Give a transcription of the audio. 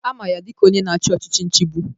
Ama ya dịka onye na-achị ọchịchị nchigbu.